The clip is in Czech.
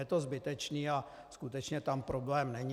Je to zbytečné a skutečně tam problém není.